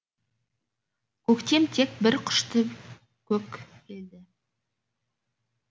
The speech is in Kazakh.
көктем тек бір құшты көк белді